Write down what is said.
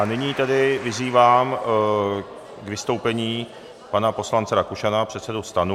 A nyní tedy vyzývám k vystoupení pana poslance Rakušana, předsedu STANu.